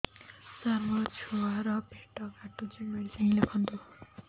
ସାର ମୋର ଛୁଆ ର ପେଟ କାଟୁଚି ମେଡିସିନ ଲେଖନ୍ତୁ